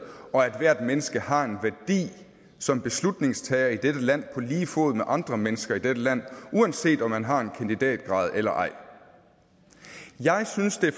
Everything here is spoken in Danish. og at ethvert menneske har en værdi som beslutningstager i dette land på lige fod med andre mennesker i dette land uanset om man har en kandidatgrad eller ej jeg synes at